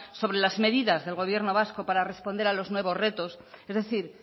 sobre las medidas del gobierno vasco para responder a los nuevos retos es decir